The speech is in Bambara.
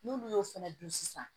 N'olu y'o fana dun sisan